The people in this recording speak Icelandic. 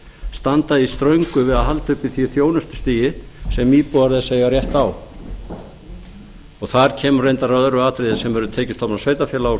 standa í ströngu við að halda uppi því þjónustustigi sem íbúar þess eiga rétt á þar kemur reyndar að öðru atriði sem eru tekjustofnar sveitarfélaga og fleira sem ég